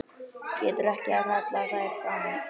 Getur ekki kallað þær fram.